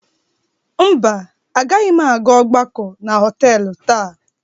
Mba, agaghị m aga ọgbakọ na họtelụ taa.